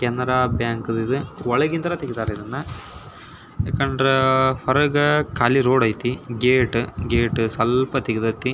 Canara Bank ಇದು ಒಳಗೆ ಇಂದ ತೆಗ್ದಾರೆ ಇದ್ನ ಯಾಕಂದ್ರ ಹೊರಗೆ ಕಾಳಿ ರೋಡ್ ಐತೆ ಗೇಟು ಗೇಟು ಸ್ವಲ್ಪ ತೇಗ್ದೈತೆ --